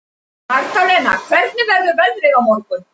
Magdalena, hvernig verður veðrið á morgun?